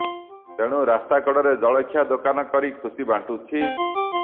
ତେଣୁ ରାସ୍ତା କଡ଼ରେ ଜଳଖିଆ ଦୋକାନ କରି ଖୁସି ବାଣ୍ଟୁଛି